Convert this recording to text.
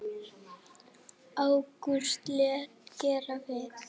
Ágústus lét gera við